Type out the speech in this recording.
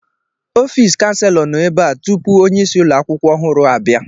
Ọfịs kanselọ nọ ebe a tupu onyeisi ụlọ akwụkwọ ọhụrụ abịa.